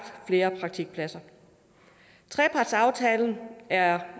flere praktikpladser trepartsaftalen er